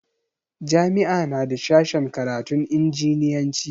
Jami'a na da sashen karatun injiniyanci.